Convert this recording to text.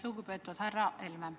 Lugupeetud härra Helme!